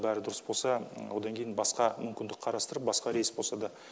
бәрі дұрыс болса одан кейін басқа мүмкіндік қарастырып басқа рейс болса да